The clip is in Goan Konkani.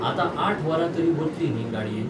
आतां आठ वरां तरी वतलीं न्ही गाडयेन.